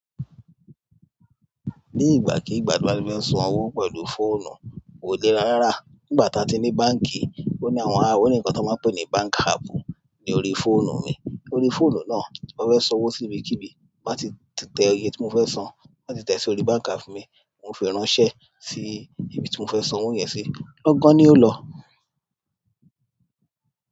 Ni ìgbà kìí gba tí n bá ti fẹ́ san owó pẹ̀lú fóònù, kò lè rárá, nígbà ta ti ní báǹkì, o ní ǹkan tí wọ́n máa ń pè ni bank app ní orí fóònù mi orí fóònù náà tí mo fẹ́ san owó síbi kíbi má tí tẹ èye tí mo fẹ́ san, ti n bá tí tẹ sórí bank app mi, wọ́n o ń fi ránṣẹ́ sí ibi tí mo fẹ́ san owó yẹn sí, lọ́gán ni ó lọ.